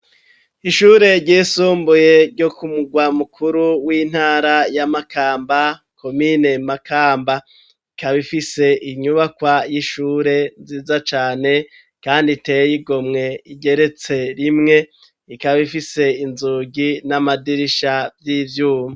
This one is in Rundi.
Ishure ryisumbuye ryo kumurwa mukuru w'intara ya Makamba komine Makamba ikaba ifise inyubakwa y'ishure nziza cane kandi iteye igomwe igeretse rimwe ikaba ifise inzugi n'amadirisha vy'ivyuma.